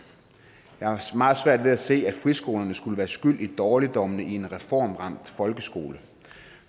jeg har meget svært ved at se at friskolerne skulle være skyld i dårligdommene i en reformramt folkeskole